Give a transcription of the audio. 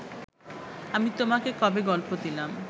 আমি তোমাকে কবে গল্প দিলাম